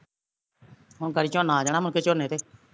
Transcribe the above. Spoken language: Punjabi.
ਹੁਣ ਗਾੜੀ ਝੋਨਾ ਆ ਜਾਣਾ ਮੁੜ ਕੇ ਝੋਨੇ ਤੇ